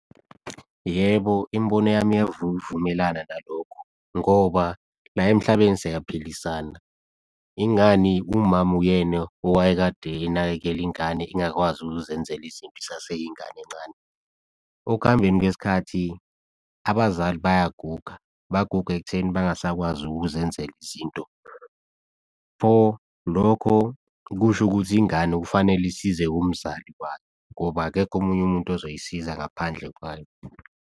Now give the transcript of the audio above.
Yebo, imibono yami iyavuvumelana nalokho ngoba la emhlabeni siyaphilisana, ingani umama uyena owayekade enakekela ingane ingakwazi ukuzenzela izinto, isaseyingane encane. Okuhambeni kwesikhathi abazali bayaguga, baguga ekutheni bengasakwazi ukuzenzela izinto. Pho lokho kusho ukuthi ingane kufanele isize umzali wayo ngoba akekho omunye umuntu ozoyisiza ngaphandle kwayo.